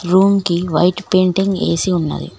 Room కి white painting AC ఉన్నది.